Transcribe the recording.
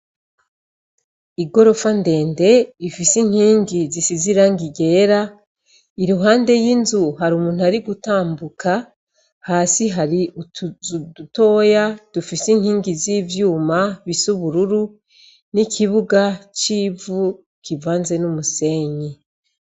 Igorofa ndende ifise inkingi zisize ibara ryera iruhande y'inzu hari umuntu ari gutambuka hasi hari utuzu dutoya dufise inkingi z'ivyuma zisa ubururu n'ikibuga civu kivanze n'umusenyi